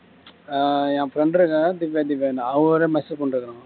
என் friend இருக்காங்க இல்ல திவ்யா திவ்யான்னு அவங்களுக்கு message பண்ணிட்டு இருக்கான்